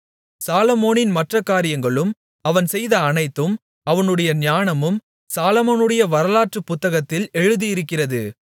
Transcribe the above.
சாலொமோனின் மற்றக் காரியங்களும் அவன் செய்த அனைத்தும் அவனுடைய ஞானமும் சாலொமோனுடைய வரலாற்றுப் புத்தகத்தில் எழுதியிருக்கிறது